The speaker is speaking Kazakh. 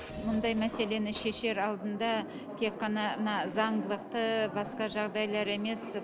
мұндай мәселені шешер алдында тек қана мына заңдылықты басқа жағдайлар емес